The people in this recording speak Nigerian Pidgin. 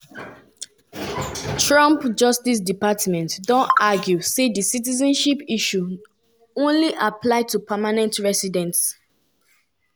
ms masango mother na princess um for di royal family and her father na prominent figure.